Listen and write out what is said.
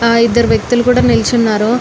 హా ఇద్ధరు వక్తులు కూడా నిల్చోనారు.